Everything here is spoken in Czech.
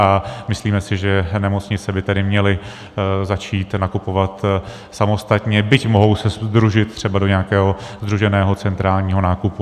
A myslíme si, že nemocnice by tedy měly začít nakupovat samostatně, byť se mohou sdružit třeba do nějakého sdruženého centrálního nákupu.